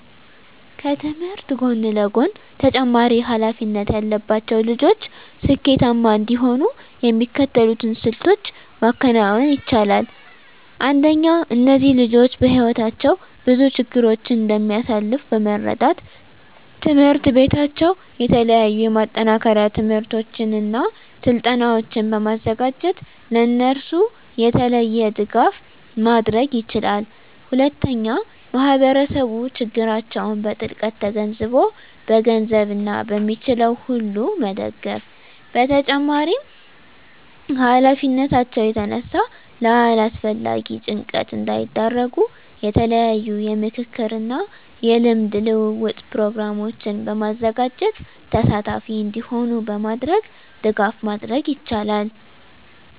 ከትምህርት ጎን ለጎን ተጨማሪ ሀላፊነት ያለባቸው ልጆች ስኬታማ እንዲሆኑ የሚከተሉትን ስልቶች ማከናወን ይቻላል። አንደኛ እነዚህ ልጆች በህይወታቸው ብዙ ችግሮችን እንደሚያሳልፍ በመረዳት ትምሕርት ቤታቸው የተለያዩ የማጠናከሪያ ትምህርቶችን እና ስልጠናዎችን በማዘጋጀት ለእነሱ የተለየ ድጋፍ ማድረግ ይችላል። ሁለተኛ ማህበረሰቡ ችግራቸውን በጥልቀት ተገንዝቦ በገንዘብ እና በሚችለው ሁሉ መደገፍ በተጨማሪም ከሀላፊነታቸው የተነሳ ለአላስፈላጊ ጭንቀት እንዳይዳረጉ የተለያዩ የምክክር እና የልምድ ልውውጥ ፕሮግራሞችን በማዘጋጀት ተሳታፊ እንዲሆኑ በማድረግ ድጋፍ ማድረግ ይቻላል።